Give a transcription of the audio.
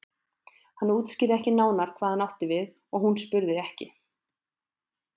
Hann útskýrði ekki nánar hvað hann átti við og hún spurði ekki.